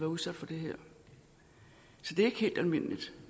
udsat for det her så det er ikke helt almindeligt